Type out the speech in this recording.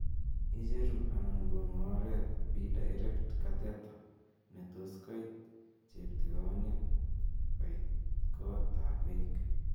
icheru anan konu oret be direct cathether ne tos koit cheptigoniet koiit kot ab beek